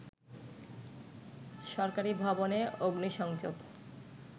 সরকারি ভবনে অগ্নিসংযোগ